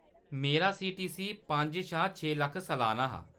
मेरा सीटीसी पंज शा छे लक्ख सलान्ना हा।